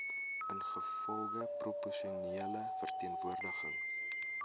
ingevolge proporsionele verteenwoordiging